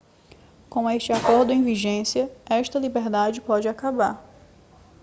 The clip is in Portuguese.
com este acordo em vigência esta liberdade pode acabar